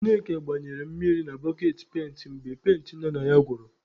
Ṅneka gbanyere mmiri na boketị penti mgbe penti nọ na ya gwụrụ.